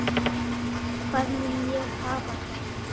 Hvar mun ég hafa það?